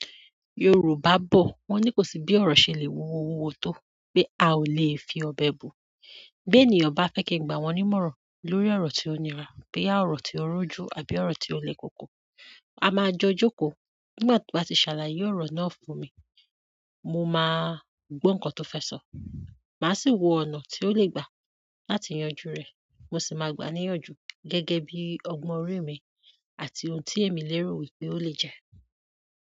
Yorùbá bọ̀ wọ́n ní kò sí bí ọ̀rọ̀ ṣe lè wuwọ wuwọ tó pé, a ò lè fi ọbẹ̀ bu. Bí ènìyàn bá fẹ́ kí n gba wọ́n ní mọ̀ràn lórí ọ̀rọ̀ tí ó nira, boya ọ̀rọ̀ tí ó rújú àbí ọ̀rọ̀ tí ó le koko, a máa jọ jókòó. Nígbà tí wọ́n bá ti ṣàlàyé ọ̀rọ̀ náà fún mi, mo máa gbó nǹkan tó fẹ́ sọ. Màá sì wo ọ̀nà tí ó le gbà láti yanjú rẹ̀. Mo sì máa gbà á níyànjú gẹ́gẹ́ bí ọgbọ́n orí mi àti ohun tí èmi lérò wípé ó lè jẹ́.